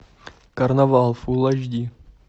карнавал фул эйч ди